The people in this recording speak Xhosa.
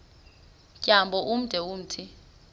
tyambo ude umthi